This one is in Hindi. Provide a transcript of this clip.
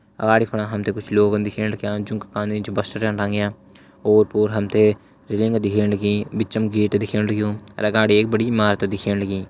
अगाड़ी फणा हम ते कुछ लोगन दिखेण लग्यां जूं का कांधा निस बस्ता छन टांग्यां ओर पोर हम ते रेलिंग दिखेण लगीं बिचम गेट दिखेण लग्युं अर अगाड़ी एक बड़ी इमारत दिखेण लगीं।